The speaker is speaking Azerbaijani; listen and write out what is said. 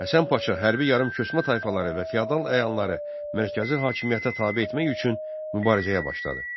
Həsən Paşa hərbi yarımköçmə tayfaları və feodal əyanları mərkəzi hakimiyyətə tabe etmək üçün mübarizəyə başladı.